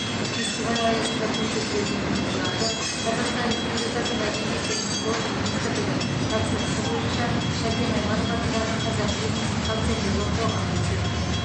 фестиваль аясында көрсетілетін туындыларды қазақстан республикасы мәдениет және спорт министрлігі тапсырысы бойынша шәкен айманов атындағы қазақфильм акционерлік қоғамы түсірген